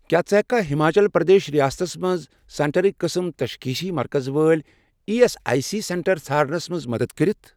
کیٛاہ ژٕ ہیٚککھا ہِماچل پرٛدیش ریاستس مَنٛز سینٹرٕک قٕسم تشخیٖصی مرکز وٲلۍ E S I C centre ژھارنَس مَنٛز مدد کٔرِتھ؟